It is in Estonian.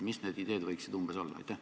Mis need ideed võiksid umbes olla?